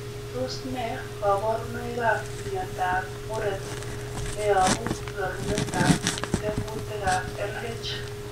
Tos nee koborunoikab miondab muren neyobu rorunetab tekutikab LH ?